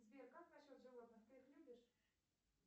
сбер как насчет животных ты их любишь